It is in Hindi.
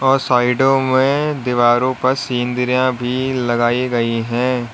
और साइडों में दीवारों पर सिन्रियाँ भी लगाई गई हैं।